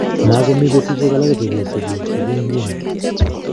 Makomii betusiek alake che kesigu, sigun nguni